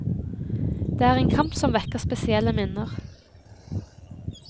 Det er en kamp som vekker spesielle minner.